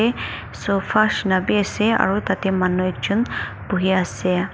sofa nishe na bi ase aru tate manu ekjun buhi ase.